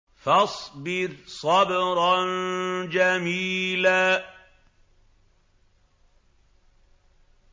فَاصْبِرْ صَبْرًا جَمِيلًا